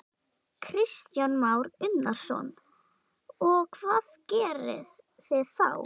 Kristján Már Unnarsson: Og hvað gerið þið þá?